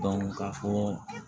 ka fɔ